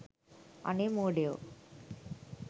අනේ මෝඩයෝ